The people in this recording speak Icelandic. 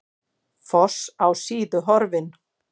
Foss á Síðu horfinn